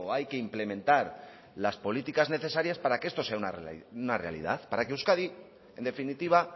hay que implementar las políticas necesarias para que esto sea una realidad para que euskadi en definitiva